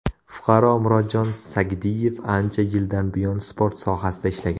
Fuqaro Murodjon Sagdiyev ancha yildan buyon sport sohasida ishlagan.